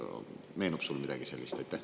Meenub teile midagi sellist?